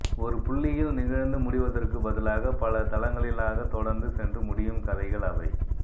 ஒரு புள்ளியில் நிகழ்ந்து முடிவதற்குப் பதிலாக பல தளங்களிலாக தொடர்ந்து சென்று முடியும் கதைகள் அவை